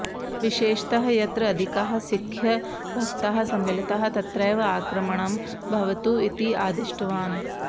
विशेषतः यत्र अधिकाः सिख्खभक्ताः सम्मिलिताः तत्रैव आक्रमणं भवतु इति आदिष्टवान्